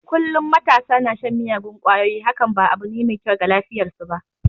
Kullum matasa na shan miyagun kwayoyi hakan ba abu ne mai kyau ga lafiyar su ba.